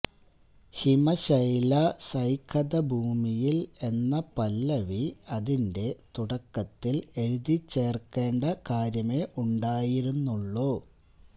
ഹിമശൈല സൈകത ഭൂമിയിൽ എന്ന പല്ലവി അതിന്റെ തുടക്കത്തിൽ എഴുതിച്ചേർക്കേണ്ട കാര്യമേ ഉണ്ടായിരുന്നുള്ളൂ